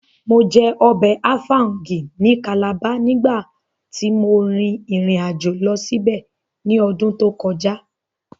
Mo jẹ ọbẹ̀ áfáúngì ní Calabar nígbàtí mo rìn ìrìnàjò lọ síbẹ̀ ní ọdún tó kọjá